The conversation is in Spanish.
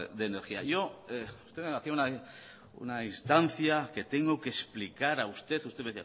de energía yo estoy en relación de una instancia que tengo que explicar a usted usted